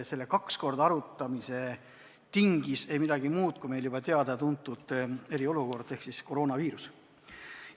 Selle kaks korda arutamise tingis ei midagi muud kui meil juba teada-tuntud eriolukord ehk siis koroonaviirus.